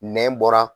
Nɛn bɔra